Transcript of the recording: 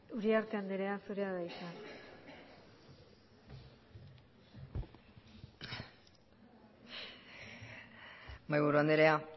uriarte andrea zurea da hitza mahaiburu andrea